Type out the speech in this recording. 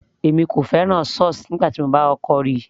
èmi kò fẹ́ràn sauce nígbà tí mo kọ́kọ́ ríi